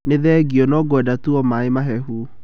Nĩ thengio, no ngwenda tu o maaĩ mahehu.